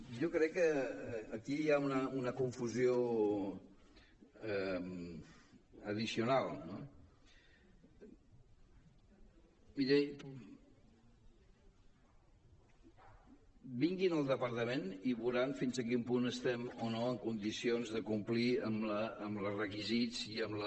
jo crec que aquí hi ha una confusió addicional no miri vinguin al departament i veuran fins a quin punt estem o no en condicions de complir amb els requisits i amb la